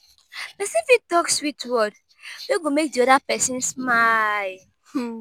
persin fit talk sweet word wey go make di other persin smile